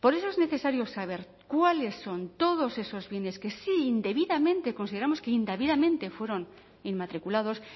por eso es necesario saber cuáles son todos esos bienes que si indebidamente consideramos que indebidamente fueron inmatriculados